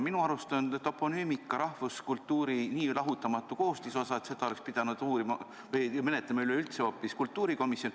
Minu arust on toponüümika rahvuskultuuri nii lahutamatu koostisosa, et seda oleks pidanud menetlema üleüldse hoopis kultuurikomisjon.